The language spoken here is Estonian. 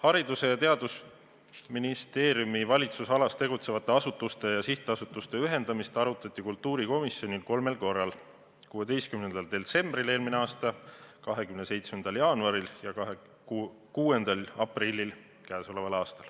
Haridus- ja Teadusministeeriumi valitsemisalas tegutsevate asutuste ja sihtasutuste ühendamist arutati kultuurikomisjonis kolmel korral: 16. detsembril eelmine aasta ning tänavu 27. jaanuaril ja 6. aprillil.